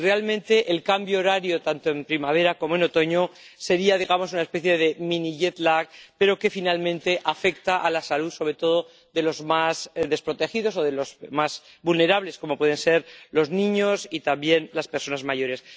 Y realmente el cambio horario, tanto en primavera como en otoño, sería una especie de mini pero que finalmente afecta a la salud, sobre todo, de los más desprotegidos o de los más vulnerables, como pueden ser los niños y, también, las personas mayores.